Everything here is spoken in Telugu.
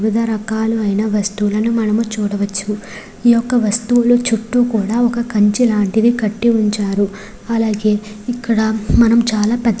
వివిధ రకాలైన వస్తువులను మనం చూడవచ్చు. ఈ యొక్క వస్తువులు చుట్టూ కూడా కంచె లాంటిది కట్టి ఉంచారు అలాగే ఇక్కడ మనం చాలా పెద్ద --